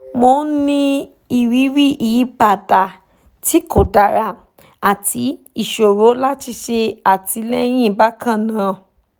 mò ń ní ìrírí ìyípadà tí kò dára àti ìṣòro láti ṣe àtìlẹyìn bákan náà